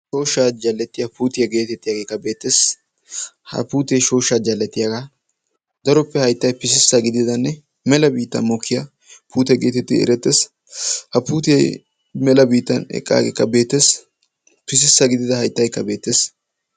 Shoshsha jalettiya putee beettees. Ha puutte haytta pisissa gididda shooshsha jallettiya puutte.